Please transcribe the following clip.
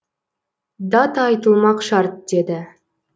дат айтылмақ шарт деді